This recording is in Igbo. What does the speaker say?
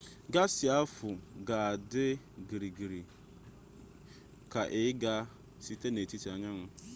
gaasị ahụ ga-adị gịrịrị ka ị ga-aga site n'etiti anyanwụ